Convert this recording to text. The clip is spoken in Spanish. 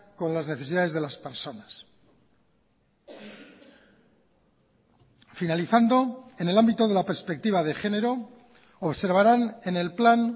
con las necesidades de las personas finalizando en el ámbito de la perspectiva de género observarán en el plan